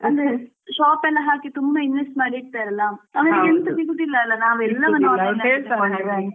Shop ಎಲ್ಲ ಹಾಕಿ ತುಂಬಾ invest ಮಾಡಿರ್ತರಲ್ವ ಅವ್ರಿಗೆ ಎಂತ ಸಿಗುದಿಲ್ಲ ಅಲ್ವ